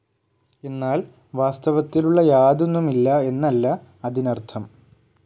എന്നാൽ വാസ്തവത്തിലുള്ള യാതൊന്നുമില്ല്ല എന്നല്ല അതിനർഥം.